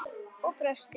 Og brosti!